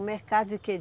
O mercado de quê?